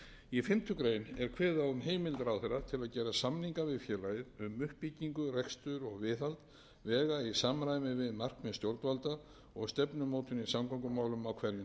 í fimmtu grein er kveðið á um um heimild ráðherra til að gera samninga við félagið um uppbyggingu rekstur og viðhald vega í samræmi við markmið stjórnvalda og